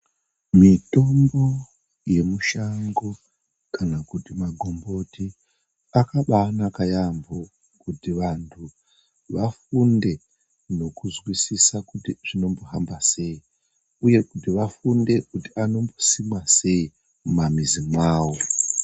Mitombo yemushango kana kuti magomboti akabanaka yaambo kuti vantu vafunde nekuzwisisa kuti zvinombohamba sei uye kuti vafunde kuti anombosimwa sei mumamizi mwavo.